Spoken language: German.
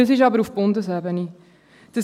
dies ist jedoch auf Bundesebene geregelt.